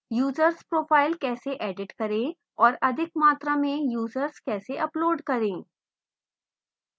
users profile कैसे edit करें और अधिक मात्रा में users कैसे अपलोड करें